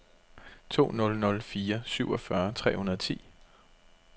to nul nul fire syvogfyrre tre hundrede og ti